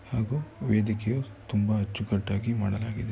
ಹಾಗೂ ವೇದಿಕೆ ತುಂಬಾ ಅಚ್ಚುಕಟ್ಟಾಗಿ ಮಾಡಲಾಗಿದೆ .